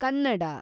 Kannada